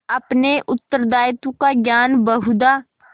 अपने उत्तरदायित्व का ज्ञान बहुधा